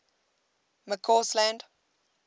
mccausland